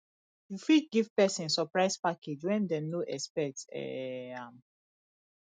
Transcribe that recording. you fit give person surprise package when dem no expect um am